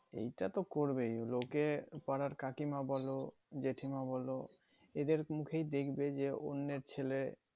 এইটা তো করবে লোকে পাড়ার কাকিমা বোলো জেঠীমা বলো যাদের মুখে দেখবে যে অন্যের ছেলে